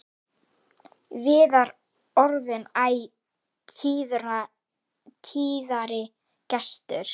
Viðar orðinn æ tíðari gestur.